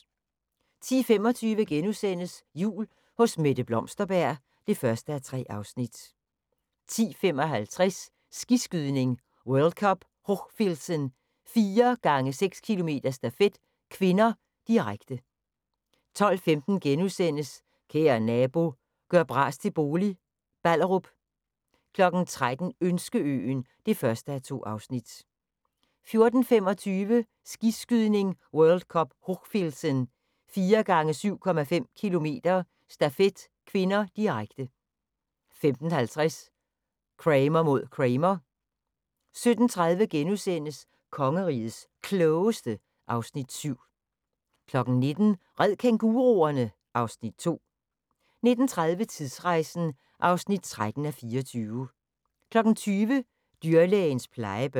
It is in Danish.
10:25: Jul hos Mette Blomsterberg (1:3)* 10:55: Skiskydning: World Cup Hochfilzen - 4x6 km stafet (k), direkte 12:15: Kære nabo – gør bras til bolig – Ballerup * 13:00: Ønskeøen (1:2) 14:25: Skiskydning: World Cup Hochfilzen - 4x7,5 km stafet (k), direkte 15:50: Kramer mod Kramer 17:30: Kongerigets Klogeste (Afs. 7)* 19:00: Red kænguruerne! (Afs. 2) 19:30: Tidsrejsen (13:24) 20:00: Dyrlægens plejebørn